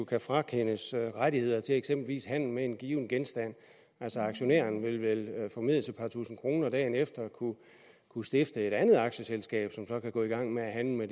kan frakendes rettigheder til eksempelvis handel med en given genstand altså aktionæren vil vel formedelst et par tusind kroner dagen efter kunne stifte et andet aktieselskab som så kan gå i gang med at handle